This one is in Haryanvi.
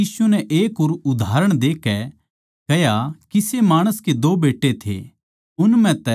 फेर यीशु नै एक और उदाहरण देकै कह्या किसे माणस के दो बेट्टे थे